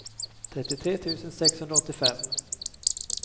trettiotre tusen sexhundraåttiofem